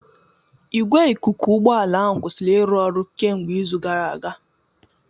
Igwe ikuku ụgbọ ala kwụsịrị ịrụ ọrụ kemgbe izu gara aga.